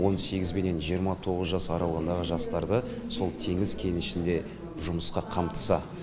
он сегізбенен жиырма тоғыз жас аралығындағы жастарды сол теңіз кенішінде жұмысқа қамтыса